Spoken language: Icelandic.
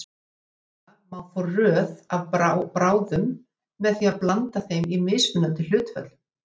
Greinilega má fá röð af bráðum með því að blanda þeim í mismunandi hlutföllum.